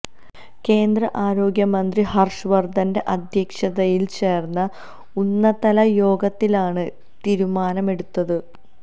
കേന്ദ്ര ആരോഗ്യമന്ത്രി ഹര്ഷവര്ധന്റെ അധ്യക്ഷതയില് ചേര്ന്ന ഉന്നതതല യോഗത്തിലാണ് തീരുമാനമെടുത്തത്